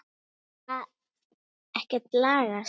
Hefur það ekkert lagast?